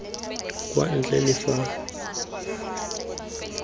kwa ntle le fa tlhaloso